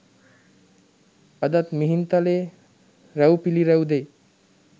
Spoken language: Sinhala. අදත් මිහින්තලයේ රුව් පිළිරැව් දෙයි.